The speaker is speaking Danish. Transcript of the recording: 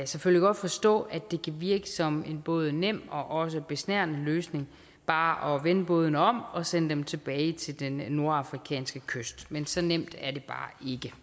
selvfølgelig godt forstå at det kan virke som en både nem og også besnærende løsning bare at vende bådene om og sende dem tilbage til den nordafrikanske kyst men så nemt er det bare